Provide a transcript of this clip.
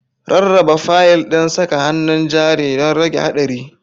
Rarraba fayil ɗin saka hannun jari don rage haɗari.